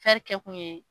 kɛ kun ye